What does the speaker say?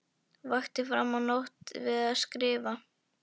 Vakti fram á nótt við að skrifa.